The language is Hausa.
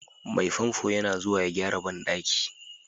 Mai famfo yana zuwa ya gyara bandaki.